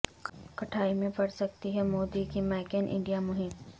کھٹائی میں پڑ سکتی ہے مودی کی میک ان انڈیا مہم